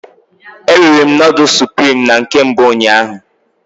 E riri'm noodles supirim na nke mbụ ụnyaahụ